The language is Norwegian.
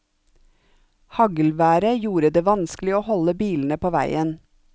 Haglværet gjorde det vanskelig å holde bilene på veien.